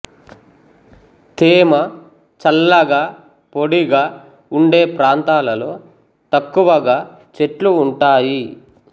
తేమ చల్లగా పొడిగా ఉండే ప్రాంతాలలో తక్కువ గా చెట్లు ఉంటాయి